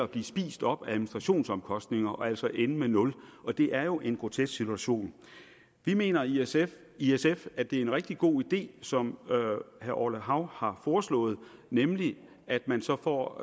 blive spist op af administrationsomkostninger og altså ende med et nul og det er jo en grotesk situation vi mener i sf i sf at det er en rigtig god idé som herre orla hav har foreslået nemlig at man så får